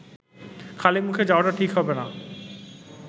খালিমুখে যাওয়াটা ঠিক হবে না